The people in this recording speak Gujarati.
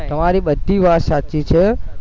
તમારી બધી વાત સાચી છે